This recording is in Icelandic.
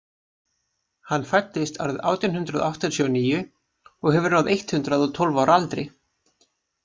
Hann fæddist árið átján hundrað áttatíu og níu og hefur náð eitt hundruð og tólf ára aldri.